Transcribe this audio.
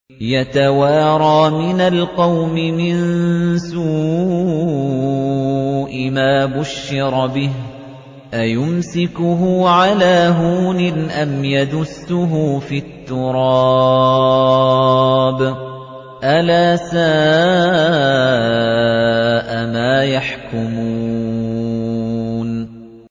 يَتَوَارَىٰ مِنَ الْقَوْمِ مِن سُوءِ مَا بُشِّرَ بِهِ ۚ أَيُمْسِكُهُ عَلَىٰ هُونٍ أَمْ يَدُسُّهُ فِي التُّرَابِ ۗ أَلَا سَاءَ مَا يَحْكُمُونَ